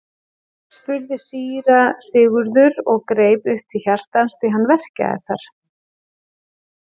spurði síra Sigurður og greip upp til hjartans því hann verkjaði þar.